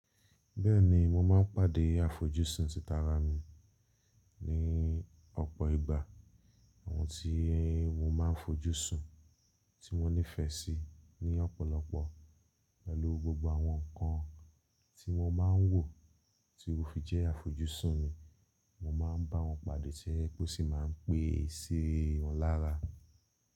Bẹ́ẹ̀ni mo máa ń pàdé àfojúsùn títara mi ní ọ̀pọ̀ ìgbà. Àwọn tí mo máa ń fojúsùn tí wọ́n nífẹ̀ẹ́ sí ní ọ̀pọ̀lọpọ̀ pẹ̀lú gbogbo àwọn nǹkan tí wọ́n máa ń wò tí ó fi jẹ́ àfojúsùn mi, mo máa ń bá wọn pàdé tojepé ó sì máa ń pé sì wọn lára.